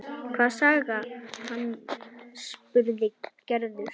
Hvað sagði hann? spurði Gerður.